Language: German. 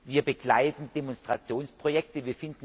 Wir begleiten Demonstrationsprojekte.